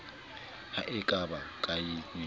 ha e ka ba kaenyana